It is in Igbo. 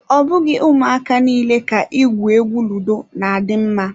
Ọ bụghị ụmụaka niile ka igwu egwu ludo na adị mma.